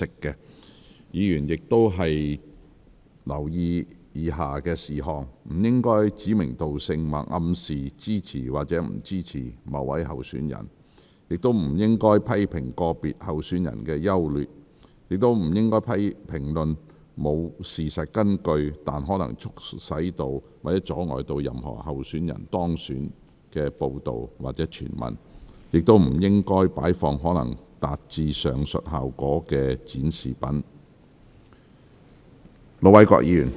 議員發言時亦應留意以下事項：不應指明道姓或暗示支持或不支持某位候選人；不應評論個別候選人的優劣；不應評論沒有事實根據但可能促使或阻礙任何候選人當選的報道或傳聞；亦不應擺放可能達致上述效果的展示品。